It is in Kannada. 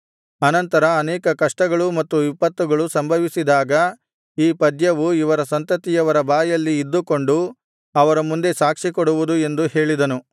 ಅನಂತರ ಅನೇಕ ಕಷ್ಟಗಳೂ ಮತ್ತು ವಿಪತ್ತುಗಳೂ ಸಂಭವಿಸಿದಾಗ ಈ ಪದ್ಯವು ಇವರ ಸಂತತಿಯವರ ಬಾಯಲ್ಲಿ ಇದ್ದುಕೊಂಡು ಅವರ ಮುಂದೆ ಸಾಕ್ಷಿಕೊಡುವುದು ಎಂದು ಹೇಳಿದನು